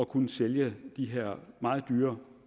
kunne sælge de her meget dyre